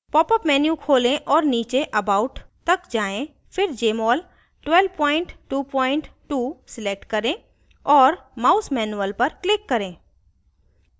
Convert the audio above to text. popअप menu खोलें और नीचे about तक जाएँ फिर jmol 1222 select करें और mouse manual पर click करें